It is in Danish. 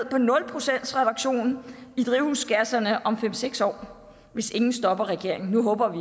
drivhusgasser om fem seks år hvis ingen stopper regeringen nu håber vi